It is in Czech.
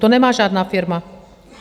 To nemá žádná firma.